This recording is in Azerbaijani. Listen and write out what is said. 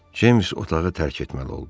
Ceyms otağı tərk etməli oldu.